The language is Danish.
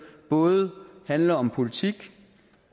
både handler om politik